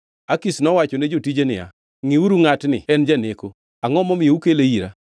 Akish nowachone jotije niya, “Ngʼiuru ngʼatni en janeko! Angʼo momiyo ukele ira?